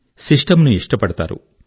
system ను ఇష్టపడతారు